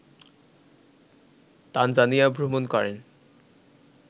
Tanzania ভ্রমণ করেন